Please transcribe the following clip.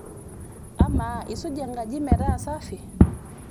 amaa isuja enkaji metaa safi?